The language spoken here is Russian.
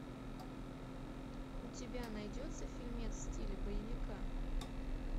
у тебя найдется фильмец в стиле боевика